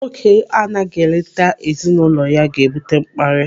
Nwoke anaghị eleta ezinụlọ ya ga-ebute mkparị.